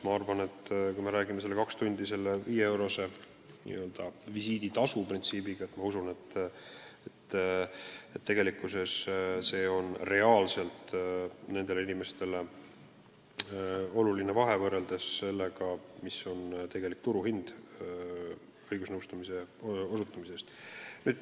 Ma arvan, et kui klient saab kaks tundi nõu 5-eurose n-ö visiiditasu eest, siis see on nendele inimestele väga oluline vahe võrreldes sellega, mis on õigusnõustamise turuhind.